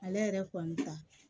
Ale yɛrɛ kɔni ta